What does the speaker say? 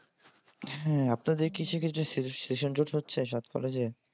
হ্যাঁ আপনাদের কিসে কিসে session জট হচ্ছে সাত কলেজে?